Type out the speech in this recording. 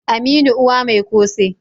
aminu Uwa Mai kose